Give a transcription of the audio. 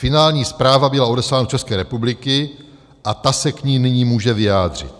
Finální zpráva byla odeslána do České republiky a ta se k ní nyní může vyjádřit.